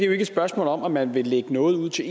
jo ikke et spørgsmål om at man vil lægge noget ud til